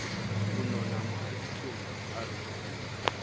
ho nona mohaditsong a re